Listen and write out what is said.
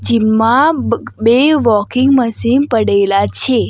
Gym માં બે walking machine પડેલા છે.